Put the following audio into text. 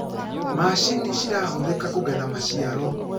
macinĩ cirahuthika kugetha maciaro